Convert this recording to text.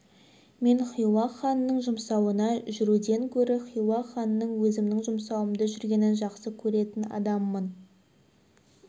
мен хиуа ханының жұмсауына жүруден көрі хиуа ханының өзімнің жұмсауымда жүргенін жақсы көретін адаммын